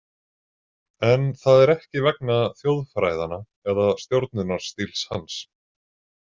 En það er ekki vegna þjóðfræðanna eða stjórnunarstíls hans?